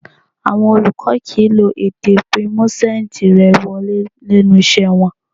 Àwọn olùkọ́ kìí lo èdè bíi 'mú sáǹjì rẹ wọlé' lẹ́nu iṣẹ́ wọn